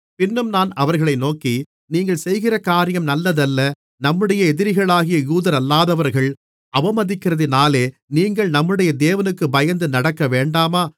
பின்னும் நான் அவர்களை நோக்கி நீங்கள் செய்கிற காரியம் நல்லதல்ல நம்முடைய எதிரிகளாகிய யூதரல்லாதவர்கள் அவமதிக்கிறதினாலே நீங்கள் நம்முடைய தேவனுக்குப் பயந்து நடக்கவேண்டாமா